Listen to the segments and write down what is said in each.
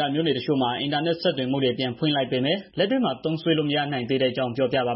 က မြို့နယ်တချို့မှာ အင်တာနက်ဆက်သွယ်မှုတွေ ပြန်ဖွင့် ပေးလိုက်ပေမယ့် လက်တွေ့မှာ သုံးစွဲလို့ မရနိုင်သေးဘဲ ဖြစ်နေတဲ့အကြောင်းကို ဗွီအိုအေ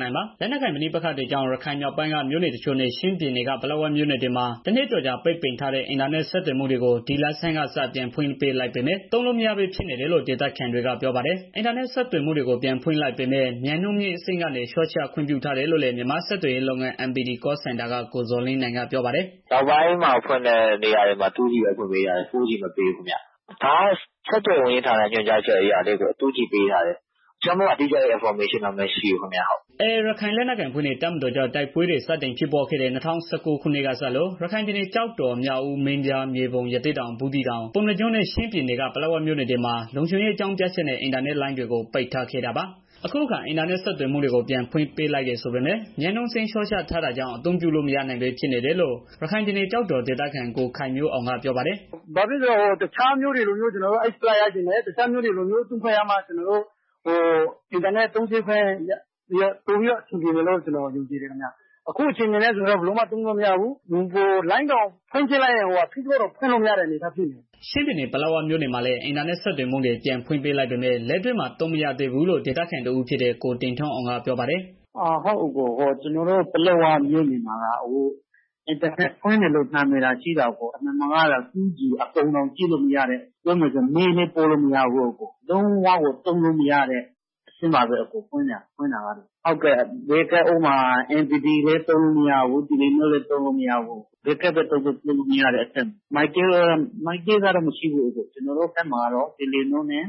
မြန်မာပိုင်းသတင်းထောက် ကိုသက်နိုင်က ပြောပြပေးပါမယ်။ လက်နက်ကိုင် ပဋိပက္ခတွေကြောင့် ရခိုင်မြောက်ပိုင်းက မြို့နယ် ရှစ် ခုနဲ့ ချင်းပြည်နယ်က ပလက်ဝမြို့နယ်တွေမှာ တနှစ်ကျော်ကြာ ပိတ်ထားတဲ့ အင်တာနက် ဆက်သွယ်မှုတွေကို ဒီလဆန်းကစ ပြန်ဖွင့်ပေးလိုက်ပေမဲ့ သုံးလို့မရဘဲ ဖြစ်နေတယ်လို့ ဒေသခံတွေက ပြောပါတယ်။ အင်တာနက် ဆက်သွယ်မှုတွေကို ပြန်ဖွင့်ပေးလိုက်ပေမဲ့ မြန်နှုန်းမြင့်အဆင့်ကနေ လျှော့ချခွင့်ပြုထားတယ်လို့လည်း မြန်မာ့ဆက်သွယ်ရေးလုပ်ငန်း MPT Call Center က ကိုဇော်လင်းနိုင်က ပြောပါတယ်။ "အခုနောက်ပိုင်းမှ ဖွင့်တဲ့နေရာတွေမှာ 2G ပဲ ပေးထားတယ်၊ 4G မပေးဘူးခင်ဗျာ။ ဒါကတော့ ဆက်သွယ်ရေး ညွှန်ကြားမှု ဦးစီးဌာရဲ့ ညွှန်ကြားအရ 2G ပေးထားတယ်။ တခြားတိကျ အင်ဖော်မေးရှင်းတော့ မရှိဘူးခင်ဗျာ။" AA ရခိုင်လက်နက်ကိုင်အဖွဲ့နဲ့ တပ်မတော်ကြား တိုက်ပွဲတွေ စတင်ဖြစ်ပွားခဲ့တဲ့ ၂၀၁၉ ခုနှစ်ကစလို့ ရခိုင်ပြည်နယ် ကျောက်တော်၊ မြောက်ဦး၊ မင်းပြား၊ မြေပုံ၊ ရသေ့တောင်၊ ဘူးသီးတောင်၊ ပုဏ္ဏားကျွန်းနဲ့ ချင်းပြည်နယ်က ပလက်ဝမြို့နယ်တွေမှာ လုံခြုံရေး အကြောင်းပြချက်နဲ့ အင်တာနက်လိုင်းတွေကို ပိတ်ထားခဲ့တာပါ။ အခုအခါ အင်တာနက်ဆက်သွယ်မှုတွေ ပြန်ဖွင့်ပေးလိုက်တယ် ဆိုပေမဲ့ မြန်နှုန်းအဆင့်လျှော့ချထားတာကြောင့် အသုံးပြုလို့ မရနိုင်ဘဲ ဖြစ်နေတယ်လို့ ရခိုင်ပြည်နယ် ကျောက်တော်ဒေသခံ ကိုခိုင်မျိုးအောင်က ပြောပါတယ်။ "တခြားမြို့တွေလိုမျိုး အင်တာနက်သုံးစွဲခွင့် ရချင်တယ်။ ရမှလည်း ကျနော်တို့အဆင်ပြောမှာဖြစ်တယ်။ အခုအနေအထားအဆင်မပြေဘူး ဖွင်ထားတယ်ဆိုပေမဲ့ ကျနော်တို့ ဖွင့်ကြည့်လိုက်ရင် FACEBOOK တောင် သုံးလို့မရဘူး အဝိုင်းလယ်နေတယ်။" ချင်းပြည်နယ် ပလက်ဝမြို့နယ်မှာလည်း အင်တာနက် ဆက်သွယ်မှုတွေ ပြန်ဖွင့်ပေးလိုက်ပေမဲ့ လက်တွေ့မှာ သုံးလို့ မရသေးဘူးလို့ ဒေသခံတဦးဖြစ်တဲ့ ကိုတင်ထွန်းအောင်က ပြောပါတယ်။ "ကျနော်တို့ ပလက်ဝမြို့နယ်မှာက အင်တာနက် ဖွင့်တယ်လို့ နာမည်သာ ရှိတာအကို... 2G ပုံတွေတောင် ကြည့်လို့မရဘူး။ ပြောမယ်ဆိုရင် mail လည်း ပို့လို့မရဘူး။ လုံးဝကို သုံးလို့မရတဲ့ အဆင့်ပါပဲ အကို။ mpt လည်း သုံးလို့မရဘူး telenor လည်း သုံးလို့ မရဘူး။ ဘယ်ကဒ်ပဲ သုံးသုံး၊ သုံးလို့မရတဲ့ အနေအထားပေါ့နော်။ ကျနော်တို့ဘက်မှာက telenor နဲ့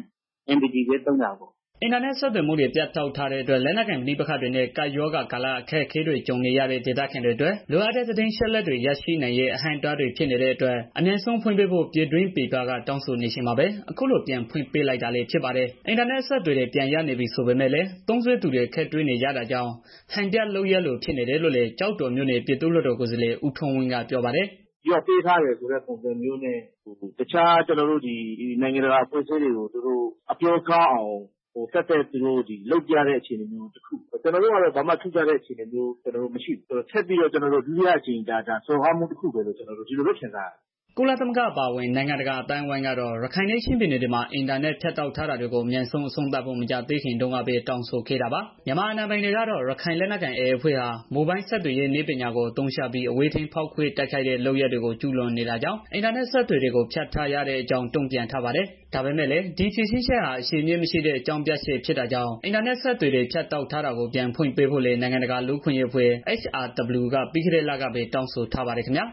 MPT နှစ်မျိုးပဲ သုံးလို့ရတာလေ။" အင်တာနက် ဆက်သွယ်မှုတွေ ဖြတ်တောက်ထားတဲ့အတွက် လက်နက်ကိုင် ပဋိပက္ခတွေနဲ့ ကပ်ရောဂါကာလ အခက်အခဲတွေ ကြုံနေရတဲ့ ဒေသခံတွေအတွက် လိုအပ်တဲ့ သတင်းအချက်အလက်တွေ ရရှိနိုင်ရေး အဟန့်အတားတွေ ဖြစ်နေရတဲ့အတွက် အမြန်ဆုံး ပြန်ဖွင့်ပေးဖို့ ပြည်တွင်းပြည်ပက တောင်းဆိုနေချိန်မှာပဲ အခုလို ပြန်ဖွင့်ပေးလိုက်တာလည်း ဖြစ်ပါတယ်။ အင်တာနက် အဆက်အသွယ်တွေ ပြန်ရနေပြီ ဆိုပေမဲ့ သုံးစွဲသူတွေ အခက်တွေ့နေရတာကြောင့် ဟန်ပြလုပ်ရပ်လို ဖြစ်နေတယ်လို့လည်း ကျောက်တော်မြို့နယ် ပြည်သူ့လွှတ်တော် ကိုယ်စားလှယ် ဦးထွန်းဝင်းက ပြောပါတယ်။ "ရော့ပေးထားတယ် ဆိုတဲ့ပုံစံမျိုးနဲ့ တခြားနိုင်ငံတကာအဖွဲ့စည်းတွေကို အပြောကောင်းအောင် ဒါသက်သက်ပြတဲ့ အခြေအနေတစ်ခု ကျနော်တို့ကတော့ ဘာမှ ထူးခြားလာတာ မရှိဘူး။ ဒါထပ်ပြီးတော့ ဒုတိယတစ်ကြိမ် စော်ကားခံရမှုလို့ပဲ ကျနော်တို့ ခံစားရတယ်။" ကုလသမဂ္ဂ အပါအဝင် နိုင်ငံတကာ အသိုင်းအဝန်းကတော့ ရခိုင်နဲ့ ချင်းပြည်နယ်တွေမှာ အင်တာနက် ဖြတ်တောက်ထားတာတွေကို အမြန်ဆုံး အဆုံးသတ်ဖို့ မကြာသေးခင်တုန်းကပဲ တောင်းဆိုခဲ့တာပါ။ မြန်မာအာဏာပိုင်တွေကတော့ AA ရခိုင်လက်နက်ကိုင်အဖွဲ့ဟာ မိုဘိုင်းဆက်သွယ်ရေး နည်းပညာကို အသုံးချပြီး အဝေးထိန်းဖောက်ခွဲ တိုက်ခိုက်တဲ့ လုပ်ရပ်တွေကို ကျုးလွန်နေတာကြောင့် အင်တာနက် အဆက်အသွယ်တွေကို ဖြတ်တောက်ထားရတဲ့အကြောင်း တုံ့ပြန်ထားပါတယ်။ ဒါပေမဲ့လည်း ဒီဖြေရှင်းချက်ဟာ အခြေအမြစ်မရှိတဲ့ အကြောင်းပြချက် ဖြစ်တာကြောင့် အင်တာနက်အဆက်အသွယ်တွေ ဖြတ်တောက်ထားတာကို ပြန်ဖွင့်ပေးဖို့လည်း နိုင်ငံတကာ လူ့အခွင့်အရေးအဖွဲ့ HRW က ပြီးခဲ့တဲ့လကပဲ တောင်းဆိုထားပါတယ်ခင်ဗျာ